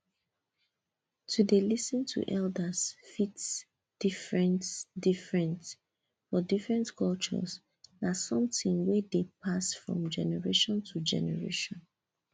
to dey lis ten to elders fit different different for different culture na something wey dey pass from generation to generation